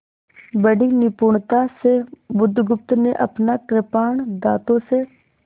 बड़ी निपुणता से बुधगुप्त ने अपना कृपाण दाँतों से